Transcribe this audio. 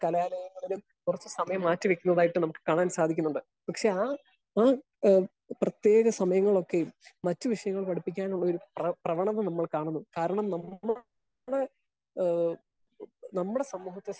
Speaker 1 കലാലയങ്ങളിലും കുറച്ചു സമയം മാറ്റി വെക്കുന്നതായിട്ട് നമുക്ക് കാണാൻ സാധിക്കുന്നുണ്ട്. പക്ഷെ ആ ആഹ് പ്രതേക സമയം നോക്കി മറ്റു വിഷയങ്ങൾ പഠിപ്പിക്കാനുള്ള പ്രവണത നമ്മള് കാണുന്നു. കാരണം ഏഹ് നമ്മുടെ ഏഹ് സമൂഹത്തെ